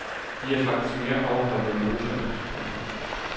De er faktisk mere afholdte end russerne. punktum